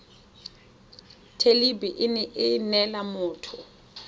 thelebi ene e neela motho